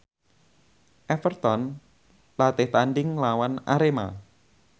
Everton latih tandhing nglawan Arema